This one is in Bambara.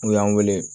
N'u y'an weele